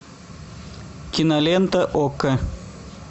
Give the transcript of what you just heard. кинолента окко